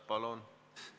Palun!